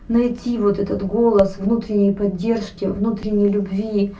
найти вот этот голос внутренней поддержки внутренней любви